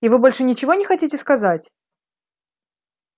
и вы больше ничего не хотите сказать